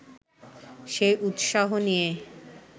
সেই উৎসাহ নিয়ে